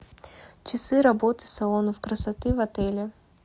часы работы салонов красоты в отеле